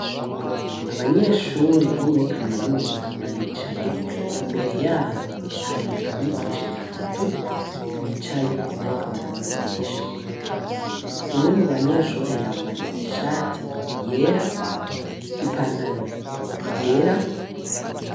Abanyeshure bo muri kaminuza baricaye imbere yaho hari abigisha batatu bicaye bariko barabavugisha umwe mu banyeshure yambaye ishati yera i pantaro yera.